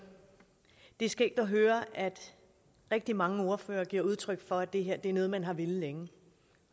det er skægt at høre at rigtig mange ordførere giver udtryk for at det her er noget man har villet længe